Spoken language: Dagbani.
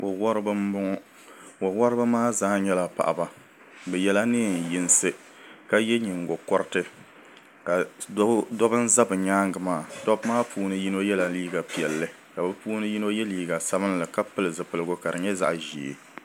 Wo woribi n bɔŋɔ wo woribi maa zaa nyɛla paɣaba bi yɛla neen yinsi ka yɛ nyingokoriti dobi n ʒɛ bi nyaangi maa dabba maa puuni yino yɛla liiga piɛlli ka bi puuni yino yɛ liiga sabinli ka pili zipiligu ka di nyɛ zaɣ ʒiɛ